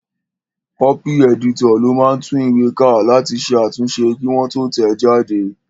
Kọ́pì ẹ̀dítọ̀ ló máa ń tún ìwé ká láti ṣe àtúnṣe kí wọ́n tó tẹ̀ ẹ́ jáde